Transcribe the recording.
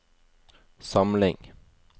samling